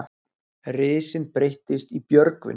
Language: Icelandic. Risinn breyttist í Björgvin.